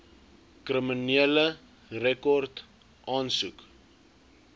kriminele rekord aansoek